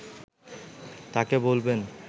তাঁকে বলবেন